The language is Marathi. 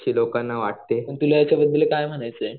ही लोकांना वाटते आणि